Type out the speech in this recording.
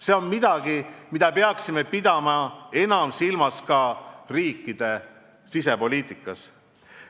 See on midagi, mida peaksime pidama enam silmas ka riikide sisepoliitikas.